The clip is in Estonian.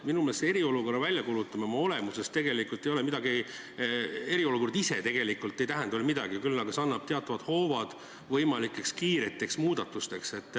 Minu meelest eriolukorra väljakuulutamine oma olemuselt ei ole midagi, eriolukord ise tegelikult ei tähenda veel midagi, küll aga see annab teatavad hoovad võimalikeks kiireteks muudatusteks.